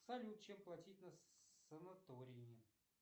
салют чем платить на санатории